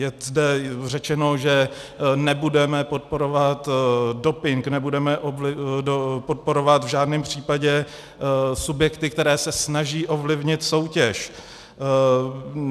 Je zde řečeno, že nebudeme podporovat doping, nebudeme podporovat v žádném případě subjekty, které se snaží ovlivnit soutěž.